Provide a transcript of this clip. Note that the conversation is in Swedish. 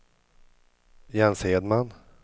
Jens Hedman